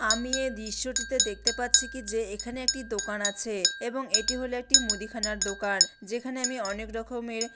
আমি এই দৃশ্যটিতে দেখতে পাচ্ছি কি যে এখানে একটি দোকান আছে। এবং এটি হলো একটি মুদিখানার দোকান যেখানে আমি অনেক রকমের--